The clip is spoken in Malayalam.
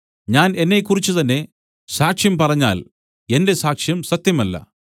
ഞാൻ എന്നെക്കുറിച്ച് തന്നേ സാക്ഷ്യം പറഞ്ഞാൽ എന്റെ സാക്ഷ്യം സത്യമല്ല